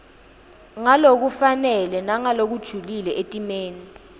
ngalokufanele nangalokujulile etimeni